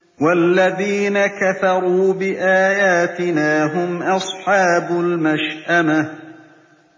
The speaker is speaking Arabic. وَالَّذِينَ كَفَرُوا بِآيَاتِنَا هُمْ أَصْحَابُ الْمَشْأَمَةِ